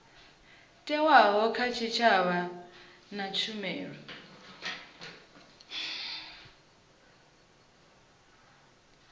thewaho kha tshitshavha na tshumelo